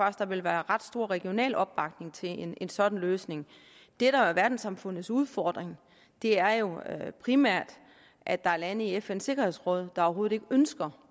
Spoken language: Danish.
at der ville være ret stor regional opbakning til en en sådan løsning det der er verdenssamfundets udfordring er jo primært at der er lande i fns sikkerhedsråd der overhovedet ikke ønsker